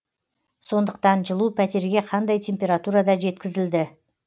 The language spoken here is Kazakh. сондықтан жылу пәтерге қандай температурада жеткізілді